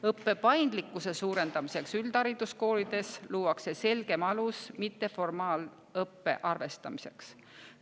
Õppe paindlikkuse suurendamiseks üldhariduskoolides luuakse selgem alus mitteformaalõppe arvestamiseks.